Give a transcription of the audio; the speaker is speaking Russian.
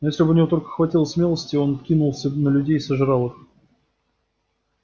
и если бы у него только хватило смелости он кинулся бы на людей и сожрал их